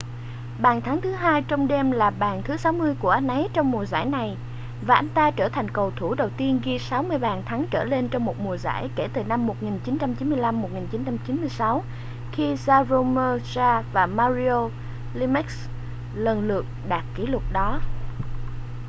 bàn thắng thứ hai trong đêm là bàn thứ 60 của anh ấy trong mùa giải này và anh ta trở thành cầu thủ đầu tiên ghi 60 bàn thắng trở lên trong một mùa giải kể từ năm 1995-1996 khi jaromir jagr và mario lemieux lần lượt đạt kỷ lục đó